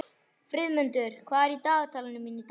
Friðmundur, hvað er á dagatalinu mínu í dag?